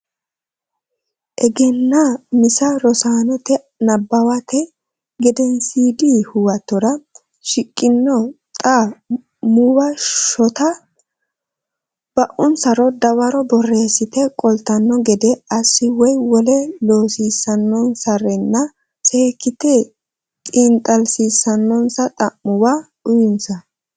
Egennaa misa Rosaanote nabbawate gedensiidi huwatora shiqqino xa muwa shotte ba unsaro dawaro borreessite qoltanno gede assi woy wole loosiissannonsarenna seekkite xiinxallissannonsa xa muwa uyinsa.